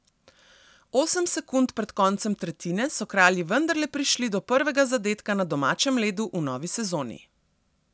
Osem sekund pred koncem tretjine so kralji vendarle prišli do prvega zadetka na domačem ledu v novi sezoni.